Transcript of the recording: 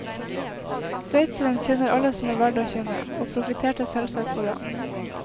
Sveitseren kjenner alle som er verd å kjenne, og profitterte selvsagt på det.